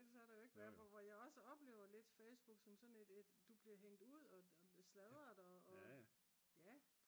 ellers så har der jo ikke været hvor jeg også oplever lidt Facebook som sådan et du bliver hængt ud og sladret og ja